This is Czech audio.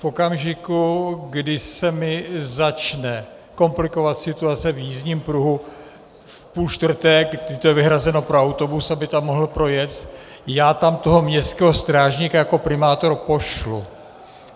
V okamžiku, kdy se mi začne komplikovat situace v jízdním pruhu v půl čtvrté, kdy to je vyhrazeno pro autobus, aby tam mohl projet, já tam toho městského strážníka jako primátor pošlu.